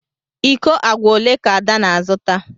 Iko agwa ole ka ada na-azụta?